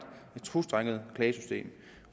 tostrenget klagesystem